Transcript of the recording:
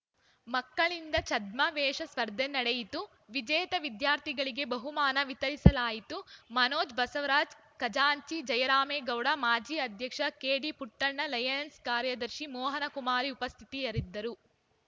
ಮಕ್ಕಳಿಂದ ಛದ್ಮವೇಷ ಸ್ಪರ್ಧೆ ನಡೆಯಿತು ವಿಜೇತ ವಿದ್ಯಾರ್ಥಿಗಳಿಗೆ ಬಹುಮಾನ ವಿತರಿಸಲಾಯಿತು ಮನೋಜ್‌ ಬಸವರಾಜ್‌ ಖಜಾಂಚಿ ಜಯರಾಮೇಗೌಡ ಮಾಜಿ ಅಧ್ಯಕ್ಷ ಕೆಡಿ ಪುಟ್ಟಣ್ಣ ಲಯನೆಸ್‌ ಕಾರ್ಯದರ್ಶಿ ಮೋಹನಕುಮಾರಿ ಉಪಸ್ಥಿತಿಯರಿದ್ದರು